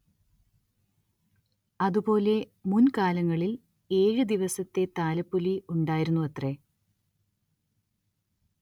അതുപോലെ മുൻ കാലങ്ങളിൽ ഏഴ് ദിവസത്തെ താലപ്പൊലി ഉണ്ടായിരുന്നുവത്രെ.